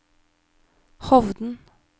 Hovden